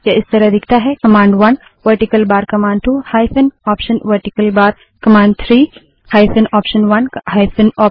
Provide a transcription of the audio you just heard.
यह इस तरह दिखता है command one vertical bar command two hyphen option vertical bar command three hyphen option one hyphen option two vertical bar command four command 1